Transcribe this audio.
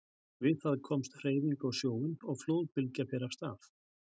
Við það kemst hreyfing á sjóinn og flóðbylgja fer af stað.